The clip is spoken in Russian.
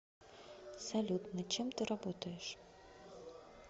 салют над чем ты работаешь